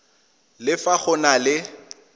le fa go na le